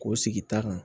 K'o sigi ta kan